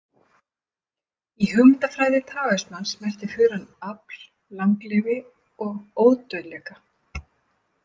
Í hugmyndafræði taóismans merkti furan afl, langlifi og ódauðleika.